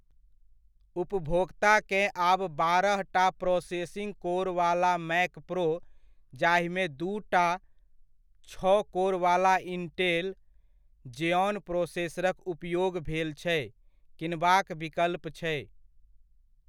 उपभोक्ताकेँ आब बारहटा processing core वाला मैक प्रो, जाहिमे दूटा छओ कोर वाला इंटेल ज़ेऑन प्रोसेसरक उपयोग भेल छै, किनबाक विकल्प छै।